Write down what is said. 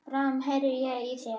Bráðum heyri ég í þér.